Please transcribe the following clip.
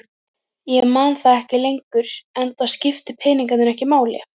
Ég man það ekki lengur enda skiptu peningar ekki máli.